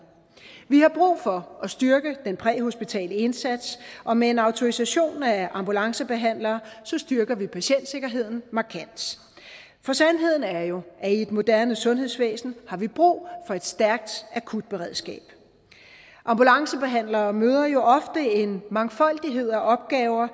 vi har brug for at styrke den præhospitale indsats og med en autorisation af ambulancebehandlere styrker vi patientsikkerheden markant for sandheden er jo at i et moderne sundhedsvæsen har vi brug for et stærkt akutberedskab ambulancebehandlere møder jo ofte en mangfoldighed af opgaver